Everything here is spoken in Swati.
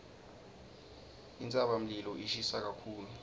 intsabamlilo ishisa kakhulu